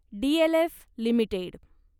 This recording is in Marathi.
DLF limited